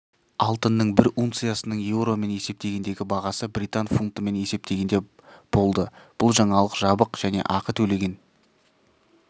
алтынның бір унциясының еуромен есептегендегі бағасы британ фунтымен есептегенде болды бұл жаңалық жабық және ақы төлеген